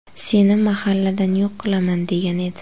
Seni mahalladan yo‘q qilaman!”, degan edi.